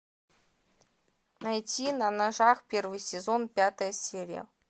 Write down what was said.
найти на ножах первый сезон пятая серия